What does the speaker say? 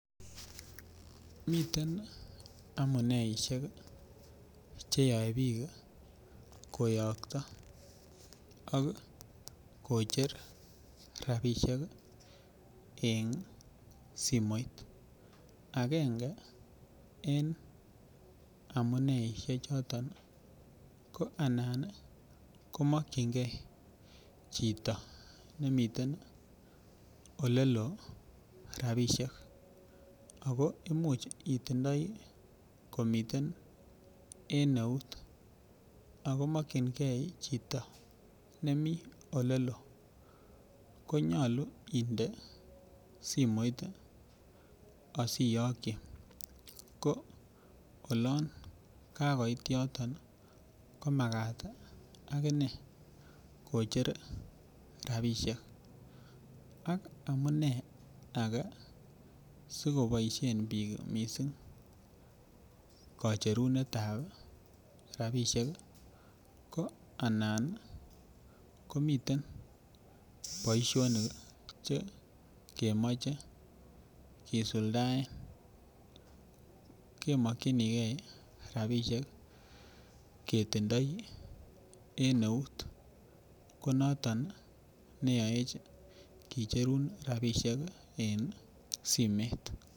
Miten amuneisiek cheyoe biik koyokto ak kocher rapisiek en simoit, agenge en amuneisiek choton ko anan komokyingee chito nemiten oleloo rapisiek ako imuch itindoi komiten en eut ako mokyingee chito nemiten oleloo konyolu inde simoit ih asiyokyi ko olon kakoit yoton komakat akinee kocher rapisiek ak amunee age sikoboisien biik missing kocherunet ab rapisiek ko anan komiten boisionik chekemoche kisuldaen kemokyingee rapisiek ketindoi en eut ko noton neyoech kicherun rapisiek en simet